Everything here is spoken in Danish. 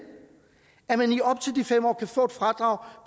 kan få et fradrag